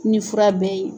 Ni fura bɛɛ ye